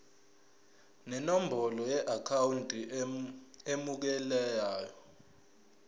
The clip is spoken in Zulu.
nenombolo yeakhawunti emukelayo